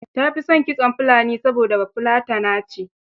Ta fi son kitson Fulani, saboda Bafulatana ce.